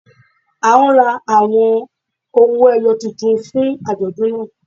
A ń rà awọn ọwọ-èyò tuntun fún ajọdún náà.